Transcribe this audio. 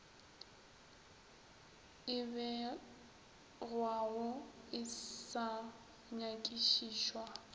e begwago e sa nyakišišwa